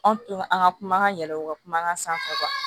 Anw tora an ka kuma ka yɛlɛ u ka kuma kan sanfɛ